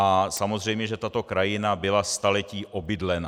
A samozřejmě že tato krajina byla staletí obydlená.